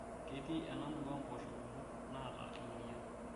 Ketii ena murua mpoosho kumok naata emoyian